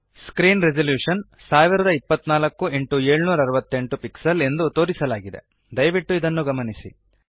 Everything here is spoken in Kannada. ಸ್ಕ್ರೀನ್ ರೆಸೊಲುಶನ್ 1024 x 768 ಪಿಕ್ಸೆಲ್ಸ್ ಎಂದು ತೋರಿಸಲಾಗಿದೆ ದಯವಿಟ್ಟು ಇದನ್ನು ಗಮನಿಸಿ